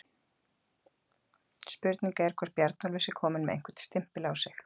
Spurning er hvort Bjarnólfur sé kominn með einhvern stimpil á sig?